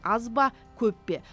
аз ба көп пе